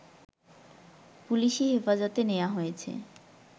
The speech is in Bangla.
পুলিসি হেফাজতে নেয়া হয়েছে